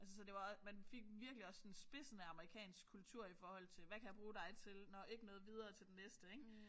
Altså så det var også man fik virkelig også sådan spidsen af amerikansk kultur i forhold til hvad kan jeg bruge dig til nåh ikke noget videre til den næste ik